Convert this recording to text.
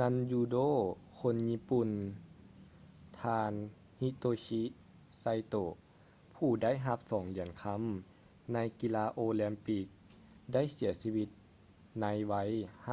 ນັນຢູໂດຄົນຍີ່ປຸ່ນ ທ່ານ hitoshi saito ຜູ້ໄດ້ຮັບສອງຫຽນຄຳໃນກິລາໂອລິມປິກ ໄດ້ເສຍຊີວິດໃນໄວ